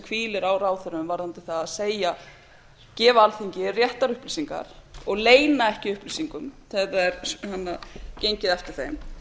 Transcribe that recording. hvílir á ráðherrum varðandi það að gefa alþingi réttar upplýsingar og leyna ekki upplýsingum þegar það er gengið eftir þeim